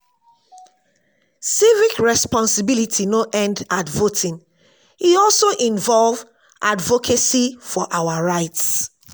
civic responsibility no end at voting; e also involve advocacy for our rights.